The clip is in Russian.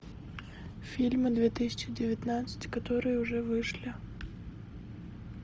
фильмы две тысячи девятнадцать которые уже вышли